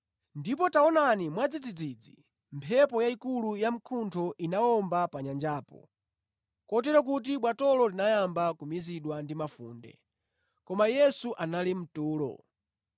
Ndipo taonani mwadzidzidzi mphepo yayikulu yamkuntho inawomba pa nyanjapo, kotero kuti bwatolo linayamba kumizidwa ndi mafunde. Koma Yesu anali mtulo.